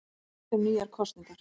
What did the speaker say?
Rætt um nýjar kosningar